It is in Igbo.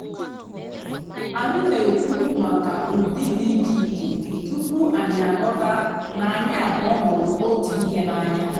ányị́ nà-èkwú màkà ụ́dị́ dị́ ìchè ìchè túpú ànyị́ àghọ́tá nà ànyị́ àbụ́ọ́ hụ́rụ́ ótú ị́hé n'ànyá.